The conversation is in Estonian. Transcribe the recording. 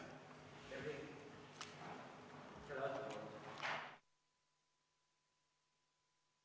Istungi lõpp kell 15.30.